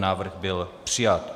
Návrh byl přijat.